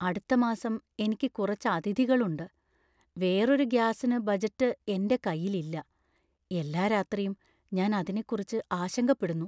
അടുത്ത മാസം എനിക്ക് കുറച്ച് അതിഥികൾ ഉണ്ട് , വേറൊരു ഗ്യാസിനു ബജറ്റ് എന്‍റെ കൈയിൽ ഇല്ല . എല്ലാ രാത്രിയും ഞാൻ അതിനെക്കുറിച്ച് ആശങ്കപ്പെടുന്നു.